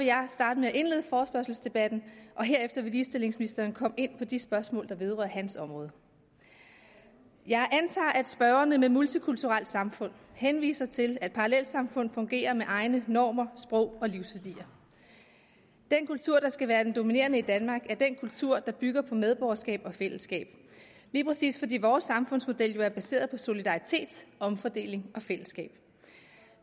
jeg starte med at indlede forespørgselsdebatten herefter vil ligestillingsministeren komme ind på de spørgsmål der vedrører hans område jeg antager at spørgerne med begrebet multikulturelt samfund henviser til at parallelsamfund fungerer med egne normer sprog og livsværdier den kultur der skal være den dominerende i danmark er den kultur der bygger på medborgerskab og fællesskab lige præcis fordi vores samfundsmodel jo er baseret på solidaritet omfordeling og fællesskab